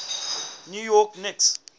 new york knicks